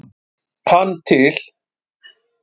hann til.